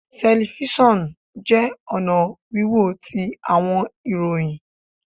Telifisonu jẹ ọna wiwo ti awọn ìròyìn